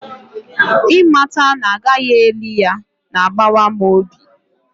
ịmata na a gaghị eli ya na-agbawa m obi